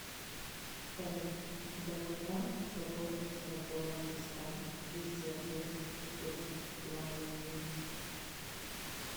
салют долгота собор святого креста и святой евлалии